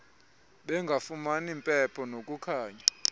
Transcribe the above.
bengafumani mpepho nakukhanya